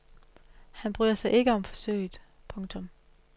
Han bryder sig ikke om forsøget. punktum